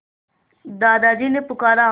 दादाजी ने पुकारा